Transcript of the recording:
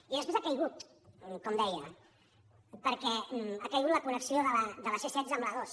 i després ha caigut com deia perquè ha caigut la con·nexió de la c·setze amb l’a·dos